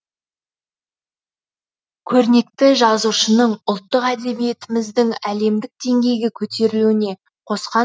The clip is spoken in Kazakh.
көрнекті жазушының ұлттық әдебиетіміздің әлемдік деңгейге көтерілуіне қосқан үлесін